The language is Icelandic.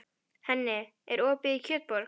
Henning, er opið í Kjötborg?